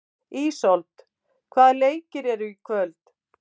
Ísold, hvaða leikir eru í kvöld?